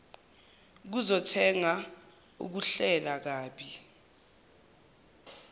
zokuthenga ukuhlela kabi